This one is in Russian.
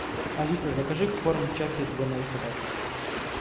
алиса закажи корм чаппи для моей собаки